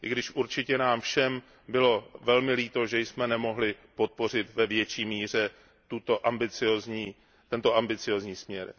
I když určitě nám všem bylo velmi líto, že jsme nemohli podpořit ve větší míře tento ambiciózní směr.